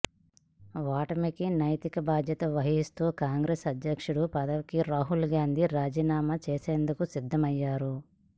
ఓటమికి నైతిక బాధ్యత వహిస్తూ కాంగ్రెస్ అధ్యక్ష పదవికి రాహుల్ గాంధీ రాజీనామా చేసేందుకు సిద్ధమయ్యారు